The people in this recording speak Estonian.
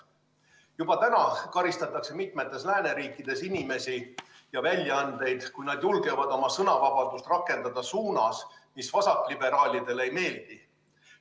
Juba täna karistatakse mitmes lääneriigis inimesi ja väljaandeid, kui nad julgevad oma sõnavabadust rakendada suunas, mis vasakliberaalidele ei meeldi.